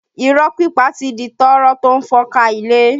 Irọ́ pípa ti di tọ́rọ́ tó ń fọ́n ká ilé